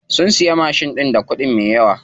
Sun siya mashin ɗin da kuɗi me yawa.